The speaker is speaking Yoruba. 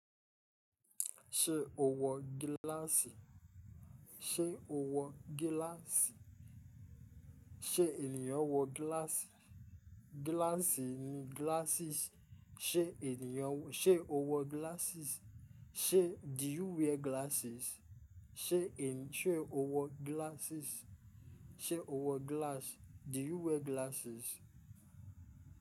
Ṣé owọ gíláàsì? Ṣé o wọ gíláàsì? Ṣé ènìyàn wọ gíláàsì? Gíláàsì ni glasses. Ṣé ènìyàn-- ṣe owọ glasses? Ṣé do you wear glasses? Ṣé ènì-- ṣe o wọ glasses? Ṣé owọ glass? Do you wear glasses?